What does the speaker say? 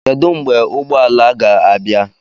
Kedu mgbe ụgbọ ala ga-abịa?